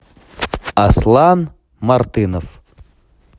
аслан мартынов